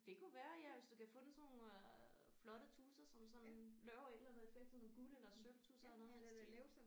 Det kunne være ja hvis du kan få den sådan nogle øh flotte tusser som sådan laver et eller andet effekt sådan guld eller sølvtusser eller noget i den stil